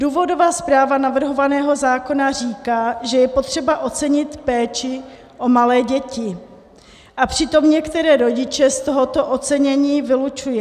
Důvodová zpráva navrhovaného zákona říká, že je potřeba ocenit péči o malé děti, a přitom některé rodiče z tohoto ocenění vylučuje.